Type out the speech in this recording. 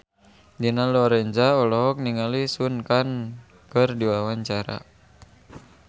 Dina Lorenza olohok ningali Sun Kang keur diwawancara